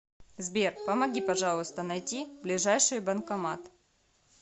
сбер помоги пожалуйста найти ближайший банкомат